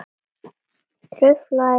Truflað lag.